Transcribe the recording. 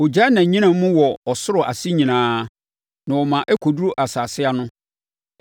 Ɔgyaa nʼanyinam mu wɔ ɔsoro ase nyinaa na ɔma ɛkɔduru asase ano.